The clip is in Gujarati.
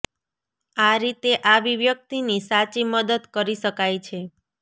આ રીતે આવી વ્યક્તિની સાચી મદદ કરી શકાય છે